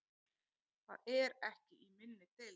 Það er ekki í minni deild.